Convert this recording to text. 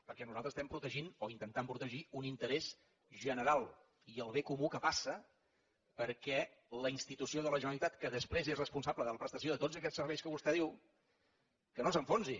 perquè nosaltres estem protegint o intentant protegir un interès general i el bé comú que passa perquè la institució de la generalitat que després és responsable de la prestació de tots aquests serveis que vostè diu no s’enfonsi